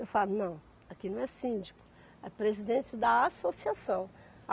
Eu falo, não, aqui não é síndico, é presidente da associação.